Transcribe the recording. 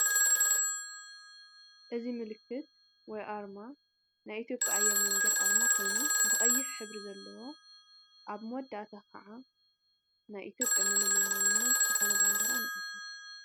እዚ ምልክት ወይ ኣርማ ናይ ኢትዮጵያ ኣየር መንገዲ ኣርማ ኮይኑ ብቀይሕ ሕብሪ ዘለዎ ኣብ መወዳእታ ክዓ ናይ ኢትዮጵያ መለለይ ማንነት ዝኮነ ባንዴራ ንዕዘብ።